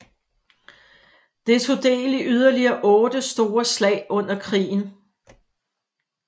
Det tog del i yderligere otte store slag under krigen